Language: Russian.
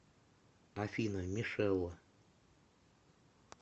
афина мишела